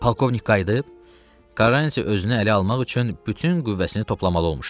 Polkovnik qayıdıb, Karrantiya özünü ələ almaq üçün bütün qüvvəsini toplamalı olmuşdu.